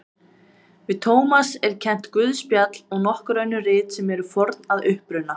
Við Tómas er kennt guðspjall og nokkur önnur rit sem eru forn að uppruna.